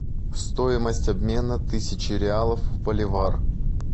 стоимость обмена тысячи реалов в боливар